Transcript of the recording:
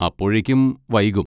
അപ്പോഴേക്കും വൈകും.